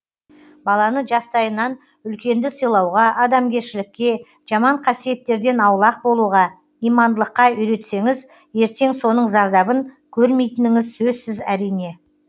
баланы жастайынан үлкенді сыйлауға адамгершілікке жаман қасиеттерден аулақ болуға имандылыққа үйретсеңіз ертең соның зардабын көрмейтініңіз сөзсіз әрине